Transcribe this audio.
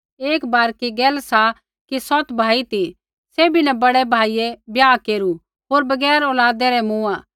एक बारकी गैल सा कि सौत भाई ती सैभी न बड़ै भाइयै ब्याह केरू होर बगैर औलादै रै मूँआ